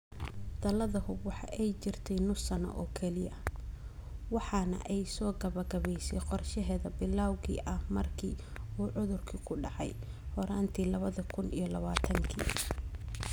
Dalada Hub waxa ay jirtay nus sano oo kaliya waxana ay soo gebagebaysay qorshaheeda bilawga ah markii uu cudurku ku dhacay horaantii lawa kun iyo lawatanki.